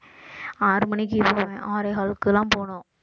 ஆறு மணிக்கு ஆறே காலுக்கெல்லாம் போகணும்